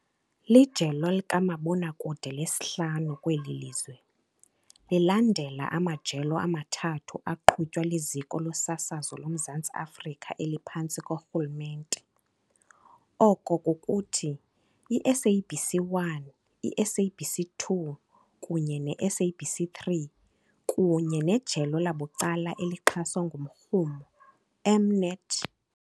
Lijelo likamabonakude lesihlanu kweli lizwe, lilandela amajelo amathathu aqhutywa liZiko loSasazo loMzantsi Afrika eliphantsi korhulumente oko kukuthi, iSABC 1, iSABC 2 kunye neSABC 3 kunye nejelo labucala elixhaswa ngumrhumo, M-Net.